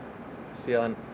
síðan